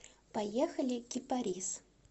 поехали кипарис